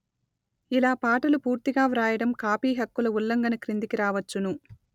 ఇలా పాటలు పూర్తిగా వ్రాయడం కాపీ హక్కుల ఉల్లంఘన క్రిందికి రావచ్చును